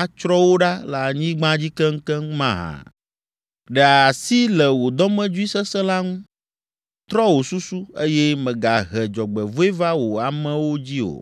atsrɔ̃ wo ɖa le anyigba dzi keŋkeŋ’ mahã? Ɖe asi le wò dɔmedzoe sesẽ la ŋu. Trɔ wò susu, eye mègahe dzɔgbevɔ̃e va wò amewo dzi o.